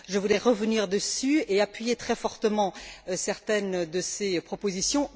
Je voulais revenir dessus et appuyer très fortement certaines de ses propositions.